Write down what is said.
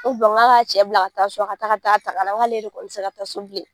n k'a ka cɛ bila ka taa so ka taa ka taa ta ka na n k'ale yɛrɛ kɔni tɛ se ka taa so bilen.